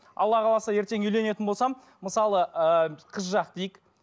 алла қаласа ертең үйленетін болсам мысалы ыыы қыз жақ дейік